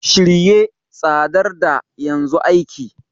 Shirye, tsayar da, yanzu aiki!